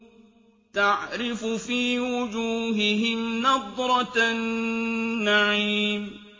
تَعْرِفُ فِي وُجُوهِهِمْ نَضْرَةَ النَّعِيمِ